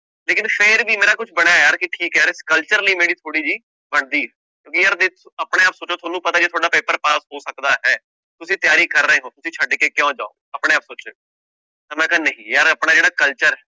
ਲੇਕਿੰਨ ਫਿਰ ਵੀ ਮੇਰਾ ਕੁਛ ਬਣਿਆ ਯਾਰ ਕਿ ਠੀਕ ਹੈ ਯਾਰ culture ਲਈ ਮੇਰੀ ਥੋੜ੍ਹੀ ਜਿਹੀ ਬਣਦੀ ਹੈ ਆਪਣੇ ਆਪ ਸੋਚੋ ਤੁਹਾਨੂੰ ਪਤਾ ਹੀ ਹੈ, ਤੁਹਾਡਾ ਪੇਪਰ ਪਾਸ ਹੋ ਸਕਦਾ ਹੈ, ਤੁਸੀਂ ਤਿਆਰੀ ਕਰ ਰਹੇ ਹੋ ਤੁਸੀਂ ਛੱਡ ਕੇ ਕਿਉਂ ਜਾਓ, ਆਪਣੇ ਆਪ ਸੋਚਿਓ, ਤਾਂ ਮੈਂ ਕਿਹਾ ਨਹੀਂ ਯਾਰ ਆਪਣਾ ਜਿਹੜਾ culture